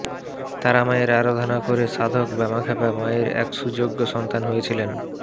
তারা মায়ের আরাধনা করে সাধক বামাক্ষ্যাপা মায়ের এক সুযোগ্য সন্তান হয়েছিলেন